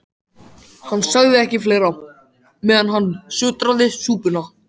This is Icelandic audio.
Hann sagði ekki fleira, meðan hann sötraði súpuna.